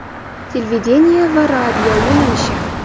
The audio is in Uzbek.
Televideniye va radio yo‘nalishi.